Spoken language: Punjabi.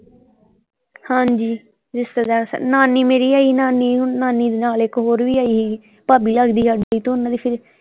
ਹਾਂਜੀ ਰਿਸ਼ਤੇਦਾਰ ਨਾਨੀ ਮੇਰੀ ਆਈ ਨਾਨੀ ਨਾਨੀ ਦੇ ਨਾਲ ਇੱਕ ਹੋਰ ਵੀ ਆਈ ਸੀਗੀ ਭਾਬੀ ਲੱਗਦੀ ਸਾਡੀ ਤੇ ਓਹਨਾਂ ਦੇ ਫਿਰ।